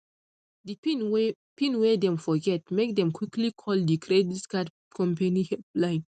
di pin wey pin wey dem forget make dem quickly call di credit card company help line